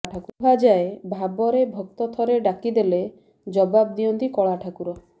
କୁହାଯାଏ ଭାବରେ ଭକ୍ତ ଥରେ ଡାକିଦେଲେ ଜବାବ ଦିଅନ୍ତି କଳା ଠାକୁର